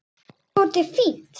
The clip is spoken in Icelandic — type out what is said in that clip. Déskoti fínt.